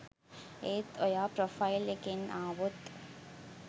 ඒත් ඔයා ප්‍රොෆයිල් එකෙන් ආවොත්